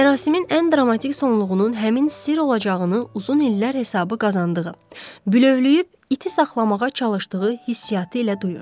Mərasimin ən dramatik sonluğunun həmin sirr olacağını uzun illər hesabı qazandığı, bülövləyib iti saxlamağa çalışdığı hissiyatı ilə duyurdu.